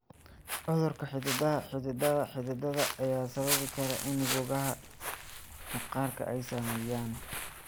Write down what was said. Cudurka xididada xididada xididada ayaa sababi kara in boogaha maqaarka ay sameeyaan.